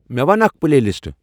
مے ون اکھ پلے لسٹہٕ ۔